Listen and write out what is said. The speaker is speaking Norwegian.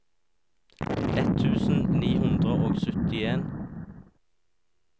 ett tusen ni hundre og syttien